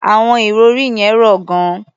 Àwọn ìrọ̀rí yẹn rọ̀ gan-an.